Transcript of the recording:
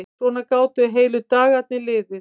Svona gátu heilu dagarnir liðið.